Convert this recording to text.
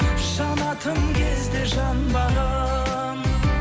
жанатын кезде жанбаған